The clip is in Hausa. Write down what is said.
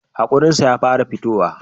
Hakorin shi ya fara fitowa